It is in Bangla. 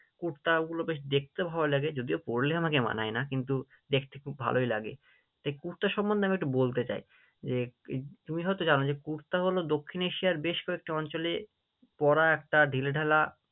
কুর্তা ওগুলো বেশ দেখতে ভালো লাগে, যদিও পড়লে আমাকে মানায় না কিন্তু দেখতে খুব ভালোই লাগে, তার কুর্তা সম্মন্ধে আমি একটু বলতে চাই, যে তুমি হয়তো জানো যে কুর্তা হলো দক্ষিণ এশিয়ার বেশ কয়েকটি অঞ্চলে পড়া একটা ঢিলে ঢালা